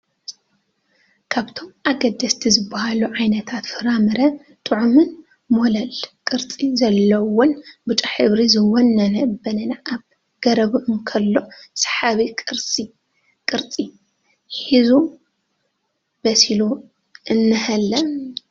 ካብቶም ኣገደስቲ ዝበሃሉ ዓይነታት ፍራምረ ጥዑምን ሞላል ቅርፂ ዘለዎን ቢጫ ሕብሪ ዝወነነን በነና ኣብ ገረቡ እንከሎ ሰሓቢ ቅርፂ ሒዙ በሲሉ እኒሀለ::